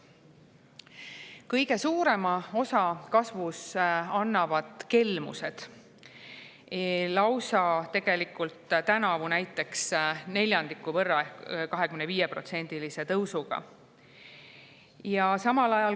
Kõige suurema osa kasvust annavad kelmused, tänavu näiteks lausa neljandiku võrra, 25%-lise tõusuga.